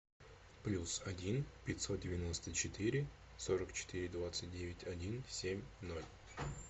плюс один пятьсот девяносто четыре сорок четыре двадцать девять один семь ноль